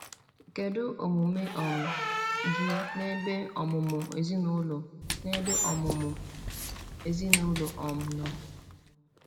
Kedu omume um gị n’ebe ọmụmụ ezinụlọ n’ebe ọmụmụ ezinụlọ um nọ?